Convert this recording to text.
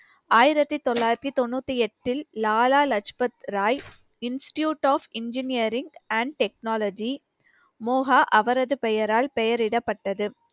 ஆயிரத்தி தொள்ளாயிரத்தி தொண்ணூத்தி எட்டில் Lala Lajpat Rai institute of engineering and technology Moga அவரது பெயரால் பெயரிடப்பட்டது